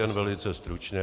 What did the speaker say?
Jen velice stručně.